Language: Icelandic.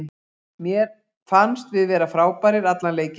Mér fannst við vera frábærir allan leikinn.